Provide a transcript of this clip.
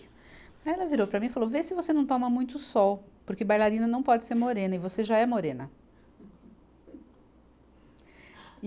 Aí ela virou para mim e falou, vê se você não toma muito sol, porque bailarina não pode ser morena, e você já é morena.